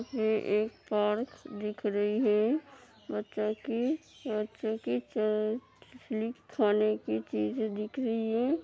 ये एक पार्क दिख रही है। मतलब की बच्चो की खेलने की चीजे दिख रही है।